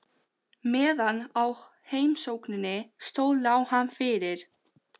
Kannski hefur hún eitthvað stórkostlegt í huga.